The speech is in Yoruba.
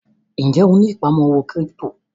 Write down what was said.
Ń jẹ́ ó ní ìpamọ́ owó kírípítò?